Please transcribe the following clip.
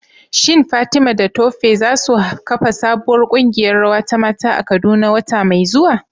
Shin Fatima da Tope za su kafa sabuwar kungiyar rawa ta mata a Kaduna wata mai zuwa?